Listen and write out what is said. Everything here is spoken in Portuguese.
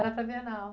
Era para a Bienal.